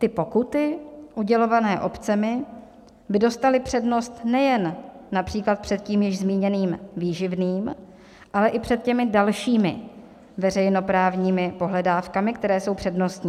Ty pokuty udělované obcemi by dostaly přednost nejen například před tím již zmíněným výživným, ale i před těmi dalšími veřejnoprávními pohledávkami, které jsou přednostní.